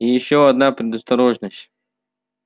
и ещё одна предосторожность